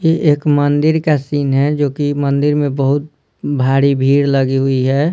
ये एक मंदिर का सीन है जोकि मंदिर में बहुत भारी भीड़ लगी हुई है।